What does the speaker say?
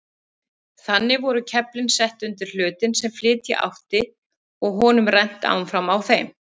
Þannig voru keflin sett undir hlutinn sem flytja átti og honum rennt áfram á þeim.